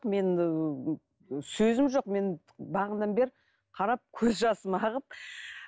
мен сөзім жоқ мен бағанадан бері қарап көз жасым ағып